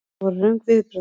Þetta voru röng viðbrögð.